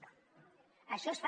no això es fa